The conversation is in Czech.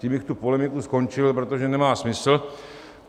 Tím bych tu polemiku skončil, protože nemá smysl.